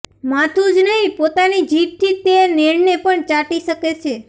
માથુ જ નહીં પોતાની જીભથી તે નેણને પણ ચાટી શકે છે